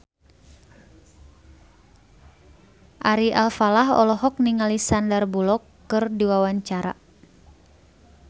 Ari Alfalah olohok ningali Sandar Bullock keur diwawancara